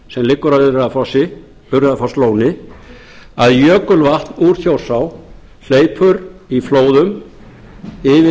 sem liggur að urriðafosslóni að jökulvatn úr þjórsá hleypur í flóðum yfir